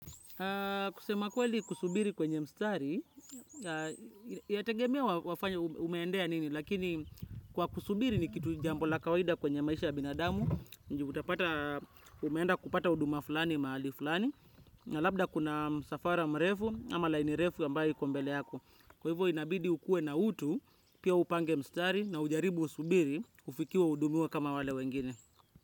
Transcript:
Kusema kweli kusubiri kwenye mstari, yategemea wafanya umeendea nini, lakini kwa kusubiri ni kitu jambo la kawaida kwenye maisha ya binadamu, juu utapata umeenda kupata huduma fulani mahali fulani, na labda kuna msafara mrefu ama laini refu ambayo iko mbele yako. Kwa hivyo inabidi ukue na utu, pia upange mstari na ujaribu usubiri, ufikiwe uhudumiwe kama wale wengine.